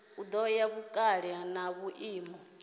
ya nga vhukale na vhuimo